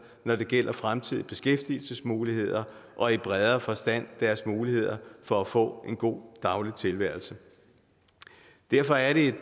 når det gælder fremtidige beskæftigelsesmuligheder og i bredere forstand deres muligheder for at få en god daglig tilværelse derfor er det